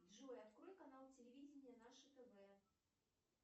джой открой канал телевидение наше тв